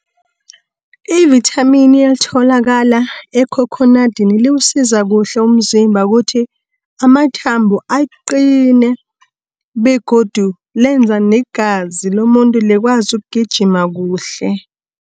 Ivithamini elitholakala ekhokhonadini liwusiza kuhle umzimba kuthi, amathambo aqine, begodu lenza negazi lomuntu likwazi ukugijima kuhle.